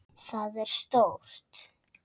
Það er stórt.